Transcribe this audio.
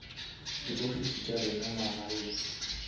di ofisi tša rena magaeng